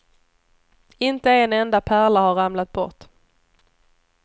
Inte en enda pärla har ramlat bort.